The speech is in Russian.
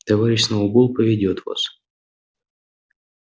товарищ сноуболл поведёт вас